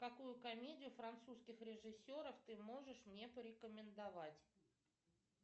какую комедию французских режиссеров ты можешь мне порекомендовать